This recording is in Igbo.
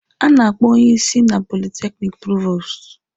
A na-akpọ onye isi na politekiniki provostu.